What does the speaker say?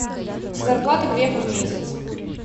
зарплата грефа в месяц